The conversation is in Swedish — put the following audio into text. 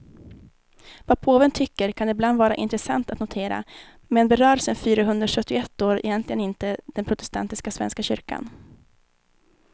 Vad påven tycker kan ibland vara intressant att notera, men berör sen fyrahundrasjuttioett år egentligen inte den protestantiska svenska kyrkan.